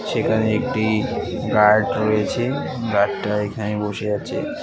সেখানে একটি গার্ড রয়েছে গার্ডটা এইখানেই বসে আছে।